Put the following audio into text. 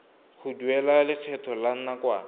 go duela lekgetho la nakwana